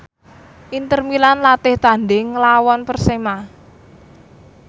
Inter Milan latih tandhing nglawan Persema